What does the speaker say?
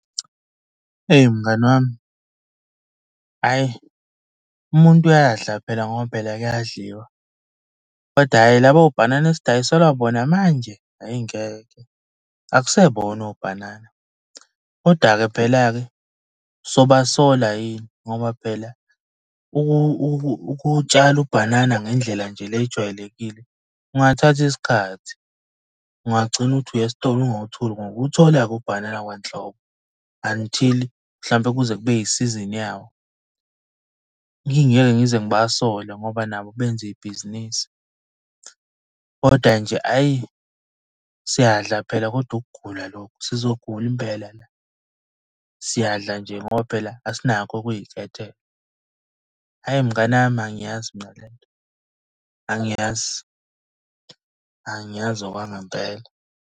Eyi mngani wami, hhayi umuntu uyadla phela ngoba phela kuyadliwa, kodwa hhayi laba obhanana esidayiselwa bona manje, ayi ngeke. Akusebona obhanana, koda-ke phela-ke soba sola yini ngoba phela ukuwutshala ubhanana ngendlela nje le ejwayelekile, kungathatha isikhathi. Ungagcina ukuthi uya esitolo ungawutholi ngokuthola-ke ubhanana kwanhlobo, until mhlawumbe kuze kube isizini yawo. Ngingeke ngize ngibasole ngoba nabo benza ibhizinisi, koda nje hhayi siyadla phela, kodwa ukugula lokhu, sizogula impela la. Siyadla nje ngoba phela asinakho ukuy'khethela. Hhayi mnganami, angiyazi mina le nto, angiyazi angiyazi okwangempela.